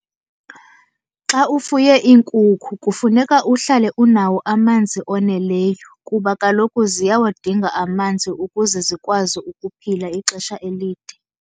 Xa ufuye iinkukhu kufuneka uhlale unawo amanzi oneleyo, kuba kaloku ziyawadinga amanzi ukuze zikwazi ukuphila ixesha elide.